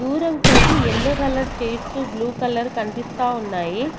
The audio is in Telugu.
దూరం side yellow colour chairs blue colour కనిపిస్తా ఉన్నాయి.